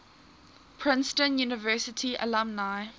princeton university alumni